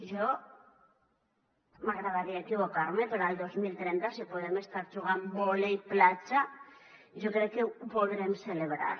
a mi m’agradaria equivocar me però el dos mil trenta si podem estar jugant vòlei platja jo crec que ho podrem celebrar